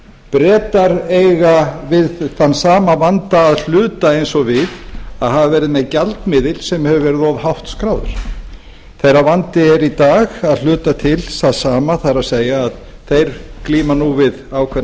bretar eiga við þann sama vanda að hluta og við að hafa verið með gjaldmiðil sem hefur verið of hátt skráður þeirra vandi er í dag að hluta til sá sami það er að þeir glíma nú við ákveðna